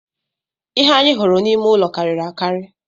Ihe anyị hụrụ n’ime ụlọ karịrị akarị